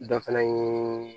Dɔ fana ye